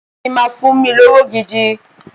Tí o bá ti máa fún mi lówó gidi